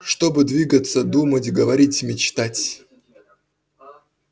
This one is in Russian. чтобы двигаться думать говорить мечтать